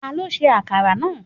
Ta ló ṣe akara náà?